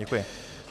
Děkuji.